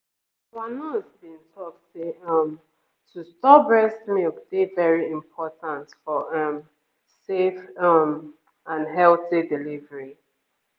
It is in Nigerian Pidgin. our nurse been talk say um to store breast milk dey very important for um safe ehm and healthy delivery